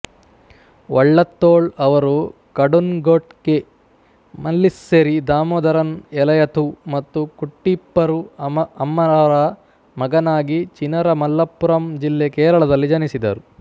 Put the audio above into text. ವಳ್ಳತ್ತೋಳ್ ಅವರು ಕಡುನ್ಗೊಟ್ಟೇ ಮಲ್ಲಿಸ್ಸೆರಿ ದಾಮೋದರನ್ ಎಲಯಥು ಮತ್ತು ಕುಟ್ಟೀಪ್ಪರು ಅಮ್ಮರವರ ಮಗನಾಗಿ ಚಿನರ ಮಲಪ್ಪುರಂ ಜಿಲ್ಲೆ ಕೇರಳದಲ್ಲಿ ಜನಿಸಿದರು